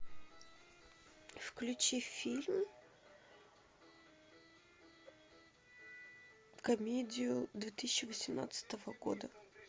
включи фильм комедию две тысячи восемнадцатого года